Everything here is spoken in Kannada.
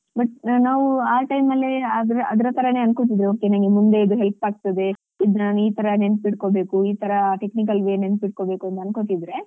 But ನಾವು ಆ time ಅಲ್ಲೇ ಅದ್ರ ಅದ್ರತರನೇ ಅನ್ಕೋತಿದ್ವಿ okay ನನ್ಗೆ ಮುಂದೆ ಇದು help ಆಗ್ತದೆ ಇದು ನಾನು ಈತರ ನೆನ್ಪಿಡ್ಕೊಳ್ಬೇಕು ಇತರ technical way ನೆನ್ಪಿಡ್ಕೊಳ್ಬೇಕು ಅಂತ ಅನ್ಕೋತಿದ್ರೆ